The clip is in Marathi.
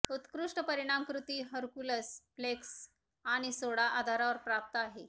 उत्कृष्ट परिणाम कृती हरकुलस फ्लेक्स आणि सोडा आधारावर प्राप्त आहे